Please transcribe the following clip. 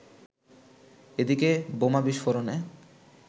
এদিকে বোমা বিস্ফোরণে